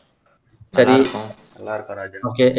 சரி okay